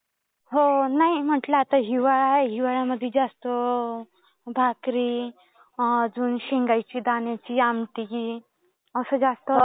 हो. नाही म्हटलं आता हिवाळा आहे. हिवाळ्यामध्ये जास्त अं भाकरी, अजून शेंगाच्या दाण्याची आमटी असं जास्त